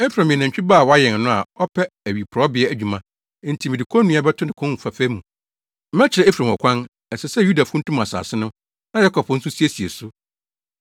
Efraim yɛ nantwi ba a wɔayɛn no, a ɔpɛ awiporowbea adwuma, enti mede konnua bɛto ne kɔn fɛɛfɛ mu. Mɛkyerɛ Efraim ɔkwan, ɛsɛ sɛ Yuda funtum asase no, na Yakob nso siesie so.